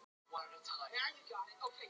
En hver eru skilaboðin?